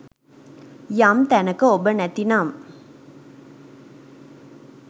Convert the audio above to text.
යම් තැනක ඔබ නැති නම්